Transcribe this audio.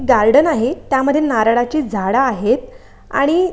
Garden आहे. त्यामध्ये नारळाची झाडं आहेत आणि--